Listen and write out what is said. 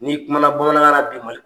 N'i kumana bamanankan na bi ma